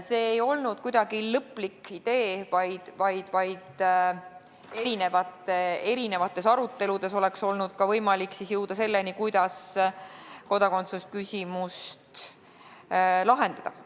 See ei olnud kuidagi lõplik idee, vaid aruteludes oleks olnud võimalik jõuda ka selleni, kuidas kodakondsusküsimust lahendada.